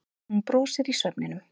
Hún brosir í svefninum.